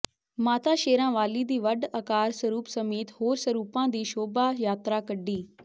ਮਾਤਾ ਸ਼ੇਰਾਂ ਵਾਲੀ ਦੀ ਵੱਡ ਆਕਾਰ ਸਰੂਪ ਸਮੇਤ ਹੋਰ ਸਰੂਪਾਂ ਦੀ ਸ਼ੋਭਾ ਯਾਤਰਾ ਕੱਢੀ